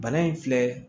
Bana in filɛ